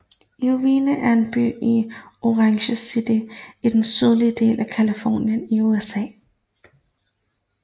Irvine er en by i Orange County i den sydlige del af Californien i USA